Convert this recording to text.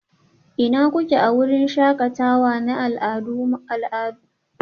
Ina kuke a wurin shakatawa na al'adu makon da ya gabata?